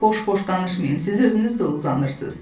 Boş-boş danışmayın, siz özünüz də uzanırsınız.